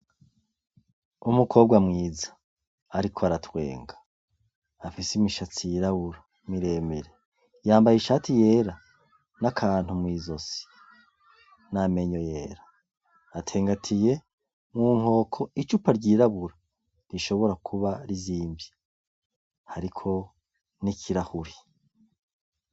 Umukobwa mwiza, ariko aratwenga afise imishatsi y'irabura miremire yambaye ishati yera n'akantu mw'izosi n'amenyo yera atengatiye mwu nkoko icupa ryirabura rishobora kuba rizimvye hariko ho nikira huri.